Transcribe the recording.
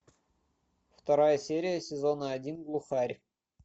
вторая серия сезона один глухарь